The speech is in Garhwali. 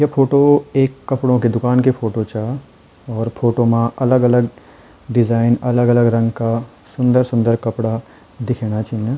ये फोटो एक कपड़ों की दुकान की फोटो चा और फोटो मा अलग-अलग डिजाईन अलग-अलग रंग का सुन्दर-सुन्दर कपड़ा दिखेणा छिन।